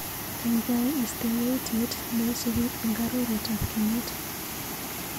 Kaikai istee yautyet neisupi eng arorutab kenyit.